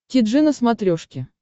ти джи на смотрешке